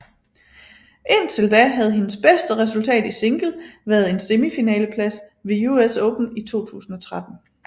Indtil da havde hendes bedste resultat i single været en semifinaleplads ved US Open i 2013